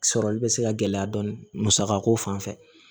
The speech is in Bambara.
Sɔrɔli bɛ se ka gɛlɛya dɔɔnin musakako fan fɛ